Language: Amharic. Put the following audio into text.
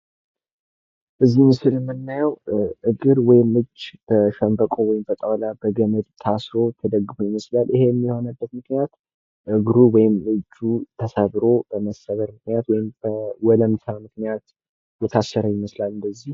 እዚህ ምስል ላይ የምናየው እግር ወይም እጅ በሸንበቆ፣ በጣውላ፣ በገመድ ታስሮ ተደግፎ ይመስላል፤ ይህም የሆነበት ምክንያትእግሩ ወይም እጁ ተሰብሮ በመሰበር ምክንያት ወይም በወለምት ምክንያት የታሰረ ይመስላል።